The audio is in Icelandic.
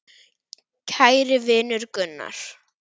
Kæri vinur Gunnar.